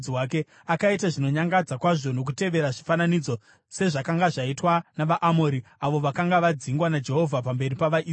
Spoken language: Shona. Akaita zvinonyangadza kwazvo nokutevera zvifananidzo, sezvakanga zvaitwa navaAmori, avo vakanga vadzingwa naJehovha pamberi pavaIsraeri.